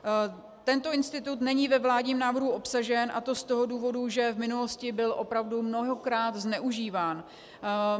Tento institut není ve vládním návrhu obsažen, a to z toho důvodu, že v minulosti byl opravdu mnohokrát zneužíván.